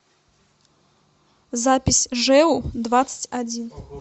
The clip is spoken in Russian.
запись жэу двадцать один